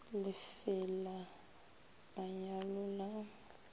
le fe la manyalo la